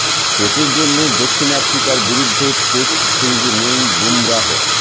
চোটের জন্য দক্ষিণ আফ্রিকার বিরুদ্ধে টেস্ট সিরিজে নেই বুমরাহ